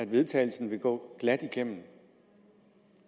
vedtagelse ville gå glat igennem